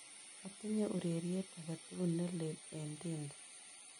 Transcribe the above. Atinye ureryet agetugul ne leel eng' tinder